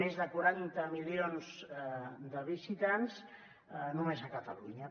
més de quaranta milions de visitants només a catalunya